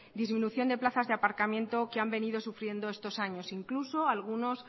disminución de plazas de aparcamiento que han venido sufriendo estos años incluso algunos